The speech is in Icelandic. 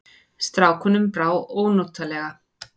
Strákunum brá ónotalega.